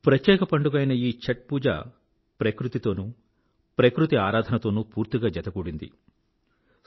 ప్రత్యేక పండుగ అయిన ఈ ఛాత్ పూజ ప్రకృతి తోనూ ప్రకృతి ఆరాధనతోనూ పూర్తిగా జతకూడింది ఈ పండుగ